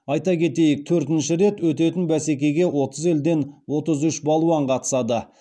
айта кетейік төртінші рет өтетін бәсекеге отыз елден отыз үш балуан қатысады